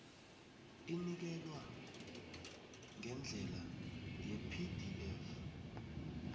inikelwa ngendlela yepdf